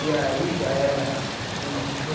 E aí já era mil novecentos e